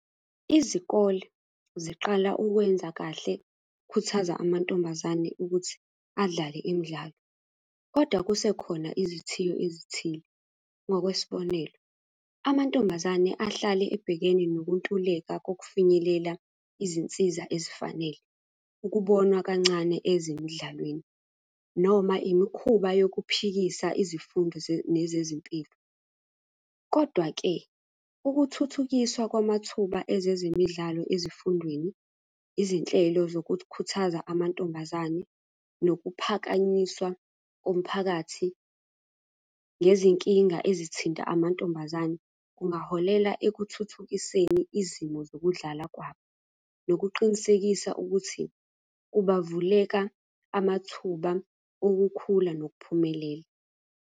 Izikole ziqala ukwenza kahle ukukhuthaza amantombazane ukuthi adlale imidlalo, kodwa kuse khona izithiyo ezithile. Ngokwesibonelo, amantombazane ahlale ebhekene nokuntuleka kokufinyelela izinsiza ezifanele. Ukubonwa kancane ezemidlalweni, noma imikhuba yokuphikisa izifundo nezezempilo, kodwa-ke, ukuthuthukiswa kwamathuba ezezemidlalo ezifundweni, izinhlelo zokukhuthaza amantombazane, nokuphakanyiswa komphakathi ngezinkinga ezithinta amantombazane, kungaholela ekuthuthukiseni izimo zokudlala kwabo. Nokuqinisekisa ukuthi kuba vuleka amathuba okukhula nokuphumelela.